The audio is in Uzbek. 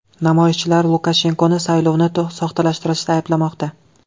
Namoyishchilar Lukashenkoni saylovni soxtalashtirishda ayblamoqda.